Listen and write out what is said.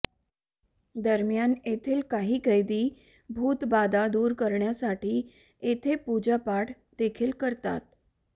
दरम्यान येथील काही कैदी भूतबाधा दूर करण्यासाठी येथे पूजा पाठ देखील करतात